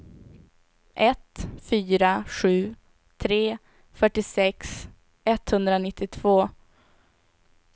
ett fyra sju tre fyrtiosex etthundranittiotvå